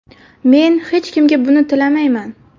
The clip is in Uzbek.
Men hech kimga buni tilamayman.